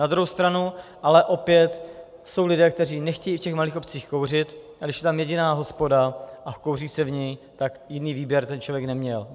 Na druhou stranu ale opět jsou lidé, kteří nechtějí v těch malých obcích kouřit, a když je tam jediná hospoda a kouří se v ní, tak jiný výběr ten člověk neměl.